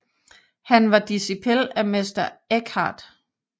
Han var dicipel af Mester Eckhart